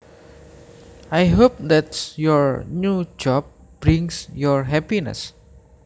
I hope that your new job brings you happiness